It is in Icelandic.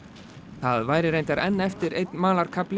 það væri reyndar enn eftir einn